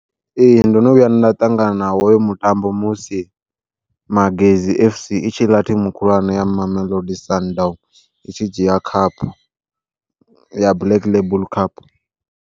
Ee ndono vhuya nda ṱangana nawo hoyo mutambo musi Magesi FC i tshi ḽa thimu khulwane ya Mamelodi Sundowns, i tshi dzhia cup ya Black Label Cup.